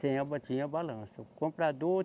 Tem a ba, tinha a balança, o comprador.